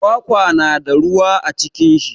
Kwakwa na da ruwa a cikin shi.